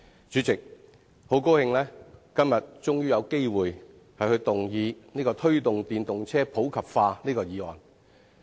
主席，很高興今天終於有機會動議"推動電動車普及化"議案。